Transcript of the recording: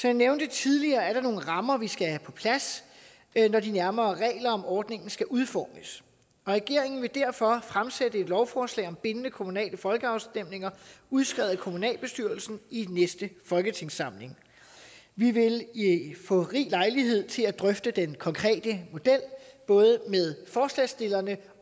jeg nævnte tidligere er der nogle rammer som vi skal have på plads når de nærmere regler om ordningen skal udformes og regeringen vil derfor fremsætte et lovforslag om bindende kommunale folkeafstemninger udskrevet af kommunalbestyrelsen i næste folketingssamling vi vil få rig lejlighed til at drøfte den konkrete model både med forslagsstillerne